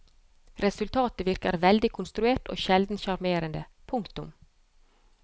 Resultatet virker veldig konstruert og sjelden sjarmerende. punktum